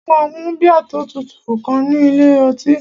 Mo máa mu bíà tó tutù kan ní ilé ọtí